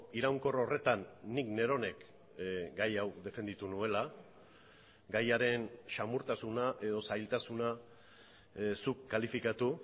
iraunkor horretan nik neronek gai hau defenditu nuela gaiaren samurtasuna edo zailtasuna zuk kalifikatu